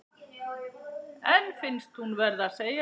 En finnst hún verða að segja